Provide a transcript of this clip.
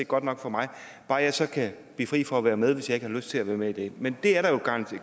godt nok for mig bare jeg så kan blive fri for at være med hvis jeg ikke har lyst til at være med i det men der er jo garanti